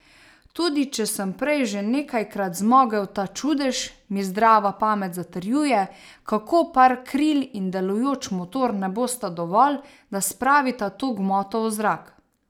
Tudi če sem prej že nekajkrat zmogel ta čudež, mi zdrava pamet zatrjuje, kako par kril in delujoč motor ne bosta dovolj, da spravita to gmoto v zrak.